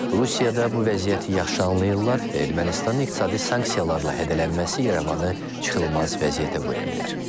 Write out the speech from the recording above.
Rusiyada bu vəziyyəti yaxşı anlayırlar və Ermənistanın iqtisadi sanksiyalarla hədələnməsi İrəvanı çıxılmaz vəziyyətə qoya bilər.